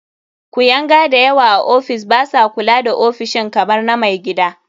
Kuyanga da yawa a ofis ba sa kula da ofishin kamar na mai gida.